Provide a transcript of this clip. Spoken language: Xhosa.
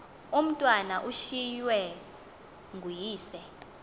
umatwana ushiywe nguyise